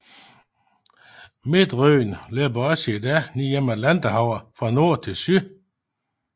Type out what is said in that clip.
Midtryggen løber også i dag ned igennem Atlanterhavet fra nord til syd